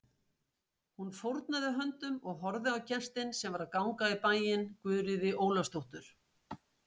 Hún fórnaði höndum og horfði á gestinn sem var að ganga í bæinn, Guðríði Ólafsdóttur.